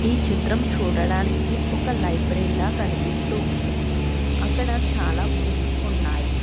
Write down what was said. ఈ చిత్రం చూడడానికి ఒక లైబ్రరీ లా కనిపిస్తూ ఉంది అక్కడ చాలా బుక్స్ ఉన్నాయి.